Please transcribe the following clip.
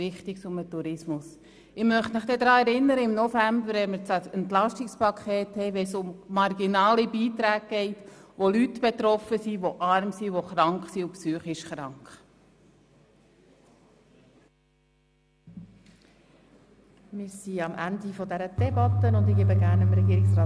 – Ich werde Sie dann im November daran erinnern, wenn wir das Entlastungspaket besprechen und es um marginale Beiträge geht, von denen physisch und psychisch kranke sowie arme Leute betroffen sind.